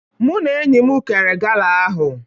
Mụ na enyi m kere gala ahụ